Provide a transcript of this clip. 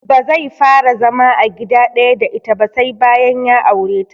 Bazai fara zama a gida ɗaya da ita ba sai bayan ya aure ta